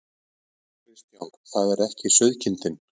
Kristján: Það er ekki sauðkindin?